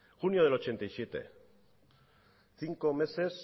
junio del mil novecientos ochenta y siete cinco meses